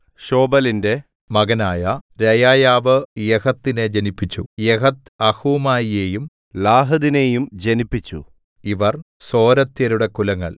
ശോബലിന്റെ മകനായ രെയായാവ് യഹത്തിനെ ജനിപ്പിച്ചു യഹത്ത് അഹൂമായിയെയും ലാഹദിനെയും ജനിപ്പിച്ചു ഇവർ സോരത്യരുടെ കുലങ്ങൾ